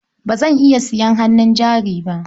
Ba zan iya sayan hannun jari ba.